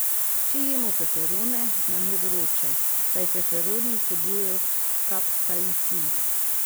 Če jemo feferone, nam je vroče, saj feferoni vsebujejo kapsaicin.